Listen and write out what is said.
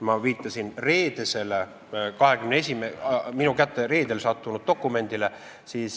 Ma viitasin minu kätte reedel sattunud dokumendile.